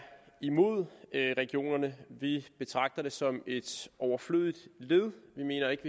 imod regionerne vi betragter dem som et overflødigt led vi mener ikke